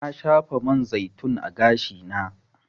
Na shafa man zaitun a gashi na.